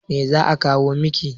Me za'a kawo miki.